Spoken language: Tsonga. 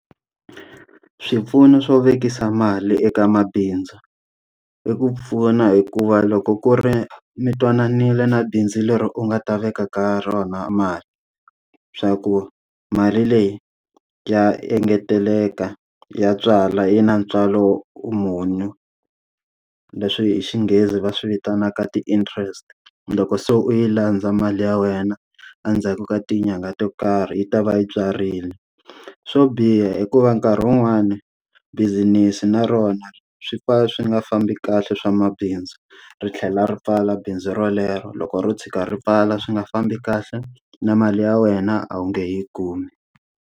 Swipfuno swo vekisa mali eka mabindzu, i ku pfuna hikuva loko ku ri mi twananile na bindzu leri u nga ta veka ka rona mali swa ku mali leyi ya engeteleka, ya tswala yi na ntswalo muni leswi hi xinghezi va swi vitanaka ti-interest. Loko se u yi landza mali ya wena endzhaku ka tinyangha to karhi yi ta va yi tswarile. Swo biha i ku va nkarhi wun'wani bussiness na rona swi fa swi nga fambi kahle swa mabindzu, ri tlhela ri pfala bindzu rolero loko ro tshuka ri pfala swi nga fambi kahle, na mali ya wena a wu nge he yi kumi.